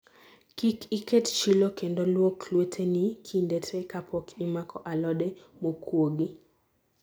Kik iket chilo kendo luok lweteni kinde te kapok imako alode mokuogi